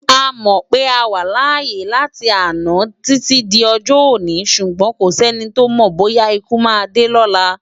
A mò pé á wá lááyé lana titi d òjò-óni súgbòn kósèni tó mò bóyá ikú má dé lòlá